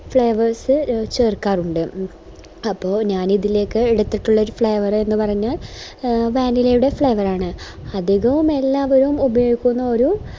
flavours ചേർക്കാറുണ്ട് അപ്പൊ ഞാനിതിലേക്ക് എടുത്തിട്ടുള്ള ഒര് flavour എന്നുപറഞ്ഞ vanilla യുടെ flavour ആണ് അധികവും എല്ലാവരും ഉപയോഗിക്കുന്ന ഒരു